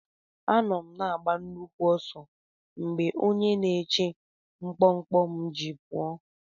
Anọ m na-agba nnukwu ọsọ mgbe onye na-eche mkpọmkpọ m ji pụọ.